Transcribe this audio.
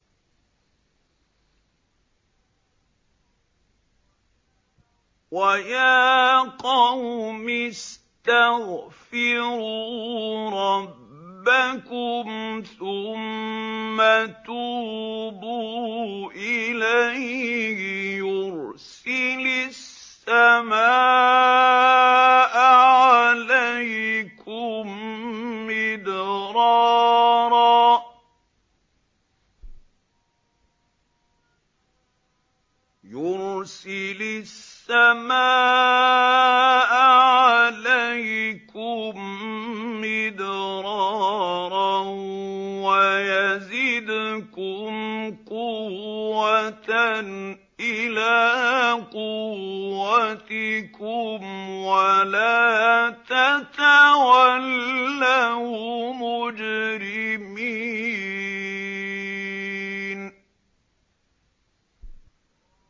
وَيَا قَوْمِ اسْتَغْفِرُوا رَبَّكُمْ ثُمَّ تُوبُوا إِلَيْهِ يُرْسِلِ السَّمَاءَ عَلَيْكُم مِّدْرَارًا وَيَزِدْكُمْ قُوَّةً إِلَىٰ قُوَّتِكُمْ وَلَا تَتَوَلَّوْا مُجْرِمِينَ